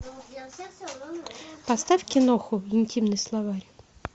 поставь киноху интимный словарь